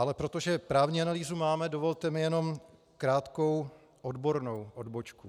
Ale protože právní analýzu máme, dovolte mi jenom krátkou odbornou odbočku.